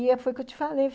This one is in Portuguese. E foi o que eu te falei.